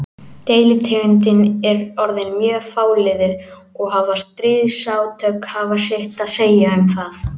Deilitegundin er orðin mjög fáliðuð og hafa stríðsátök haft sitt að segja um það.